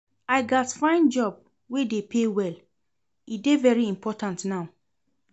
I gats find job wey dey pay well, e dey very important now.